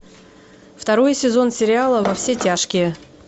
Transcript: второй сезон сериала во все тяжкие